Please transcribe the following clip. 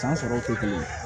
San sɔrɔ tɛ kelen ye